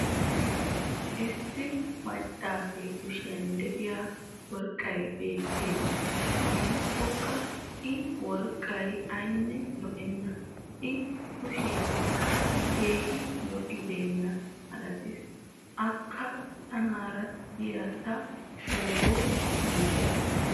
issi macaasee kushiyan diya worqqay beetees. gidikkokka i worqqay aynne lo'enna. i kushiyankka keehi lo'iyaaba malatees. akka tanaara diya ta shooro malatwusu.